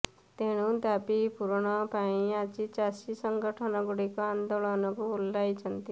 ତେଣୁ ଦାବି ପୂରଣ ପାଇଁ ଆଜି ଚାଷୀ ସଙ୍ଗଠନଗୁଡ଼ିକ ଆନ୍ଦୋଳନକୁ ଓହ୍ଲାଇଛନ୍ତି